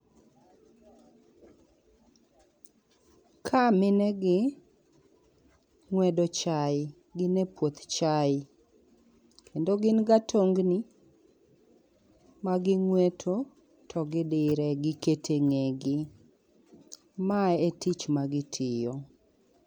Kaa mine gi ng'wedo chai. Gin e puoth chai. Kendo gin gi atongni ma gi ng'weto to gidire, giketo e ng'ee gi. Ma e tich ma gitiyo.